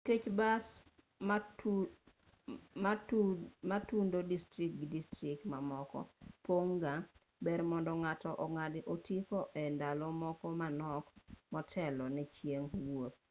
nikech bas matudo distrikt gi distrikt mamoko pon'g ga ber mondo ng'ato ong'ad otiko e ndalo moko manok motelo ne chieng' wuoth